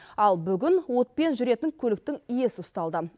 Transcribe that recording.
ал бүгін отпен жүретін көліктің иесі ұсталды